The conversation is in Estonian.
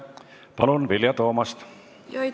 Palun, Vilja Toomast!